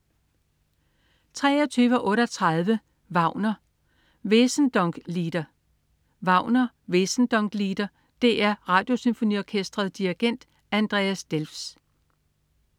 23.38 Wagner: Wesendonck-Lieder. Wagner: Wesendonck-Lieder. DR Radiosymfoniorkestret. Dirigent: Andreas Delfs